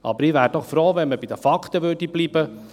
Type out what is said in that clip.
Aber ich wäre froh, wenn man bei den Fakten bliebe.